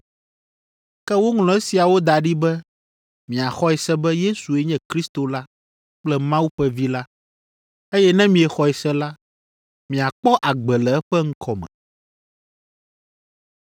Ke woŋlɔ esiawo da ɖi be miaxɔe se be Yesue nye Kristo la kple Mawu ƒe Vi la, eye ne miexɔe se la, miakpɔ agbe le eƒe ŋkɔ me.